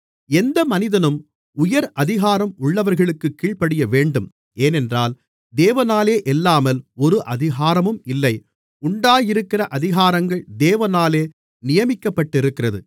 எந்த மனிதனும் உயர் அதிகாரம் உள்ளவர்களுக்குக் கீழ்ப்படியவேண்டும் ஏனென்றால் தேவனாலேயல்லாமல் ஒரு அதிகாரமும் இல்லை உண்டாயிருக்கிற அதிகாரங்கள் தேவனாலே நியமிக்கப்பட்டிருக்கிறது